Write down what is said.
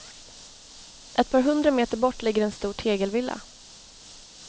Ett par hundra meter bort ligger en stor tegelvilla.